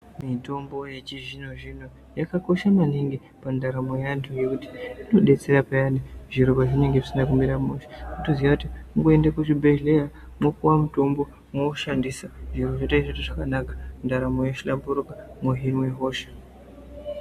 Mitombo yechizvino-zvino yakakosha maningi pandaramo yevantu ngekuti inodetsera peyani zviro pazvinenge zvisina kumira mushe ngekuti unotoziya kuti unoenda kuchibhedhlera wopuwe mitombo mwoushandisa zviro zvotoite zvakanaka, zvohlamburika wohinwe hosha.